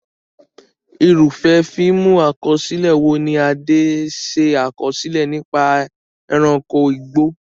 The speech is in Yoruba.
Irúfẹ́ fíìmù àkọsílẹ̀ wo ni Ade ṣe àkọsílẹ̀ nípa ẹranko igbó?